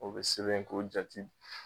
O be sebɛn k'o jati